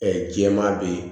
jɛman be ye